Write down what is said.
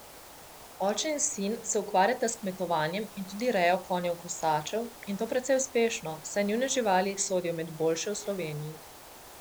Oče in sin se ukvarjata s kmetovanjem in tudi rejo konjev kasačev, in to precej uspešno, saj njune živali sodijo med boljše v Sloveniji.